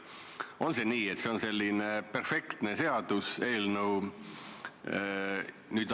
On see nii, et see on selline perfektne seaduseelnõu?